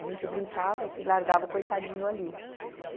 A gente brincava e largava o coitadinho ali.